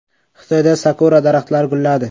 Xitoyda sakura daraxtlari gulladi.